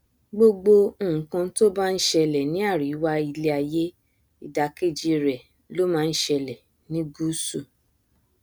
gbogbo nkan to bá nṣẹlẹ ní àríwá iléaiyé ìdàkejì rẹ ló ma nṣẹlẹ ní gusu